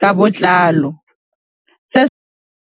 ka botlalo se.